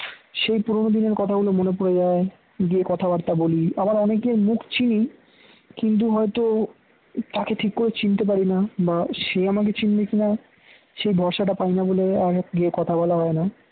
সেই পুরনো দিনের কথাগুলো মনে পড়ে যায় গিয়ে কথাবার্তা বলি আবার অনেকের মুখ চিনি কিন্তু হয়তো তাকে ঠিক করে চিনতে পারি না বা সে আমাকে চিনবে কিনা সে ভরসা টা পায়না বলে আর গিয়ে কথা বলা হয় না